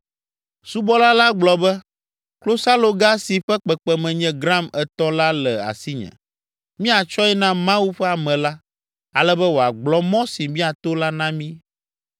Subɔla la gblɔ be, “Klosaloga si ƒe kpekpeme nye gram etɔ̃ la le asinye. Míatsɔe na Mawu ƒe ame la, ale be wòagblɔ mɔ si míato la na mí.”